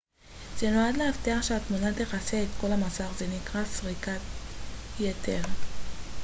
זה נועד להבטיח שהתמונה תכסה את כל המסך זה נקרא סריקת יתר